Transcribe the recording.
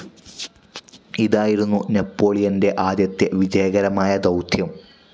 ഇതായിരുന്നു നെപ്പോളിയൻ്റെ ആദ്യത്തെ വിജയകരമായ ദൗത്യം.